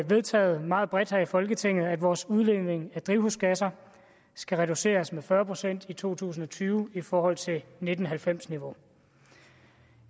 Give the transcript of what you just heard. vedtaget meget bredt her i folketinget at vores udledning af drivhusgasser skal reduceres med fyrre procent i to tusind og tyve i forhold til nitten halvfems niveau